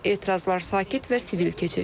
Etirazlar sakit və sivil keçir.